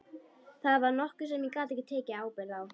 Það var nokkuð sem ég gat ekki tekið ábyrgð á.